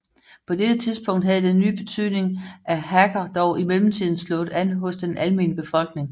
På dette tidspunkt havde den nye betydning af hacker dog i mellemtiden slået an hos den almene befolkning